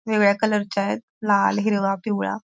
वेगवेगळ्या कलरच्या यत लाल हिरवा पिवळा--